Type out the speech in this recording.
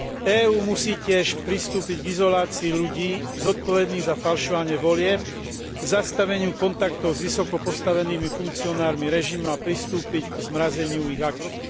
EÚ musí tiež pristúpiť k izolácii ľudí zodpovedných za falšovanie volieb, k zastaveniu kontaktov s vysoko postavenými funkcionármi režimu a k zmrazeniu ich aktív.